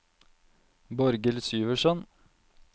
Borghild Syversen